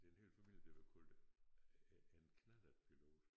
Det er en hel familie der var kaldt æ en knallertpilot